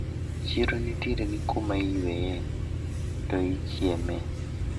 Chiro nitiere gi kuma iyweye to ichieme.